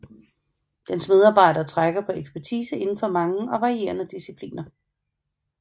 Dens medarbejdere trækker på ekspertise inden for mange og varierede discipliner